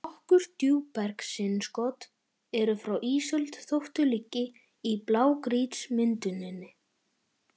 Nokkur djúpbergsinnskot eru frá ísöld þótt þau liggi í blágrýtismynduninni.